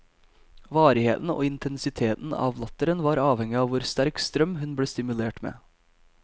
Varigheten og intensiteten av latteren var avhengig av hvor sterk strøm hun ble stimulert med.